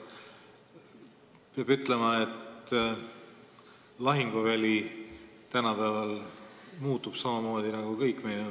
Peab ütlema, et tänapäeval muutub lahinguväli samamoodi nagu kõik meie ümber.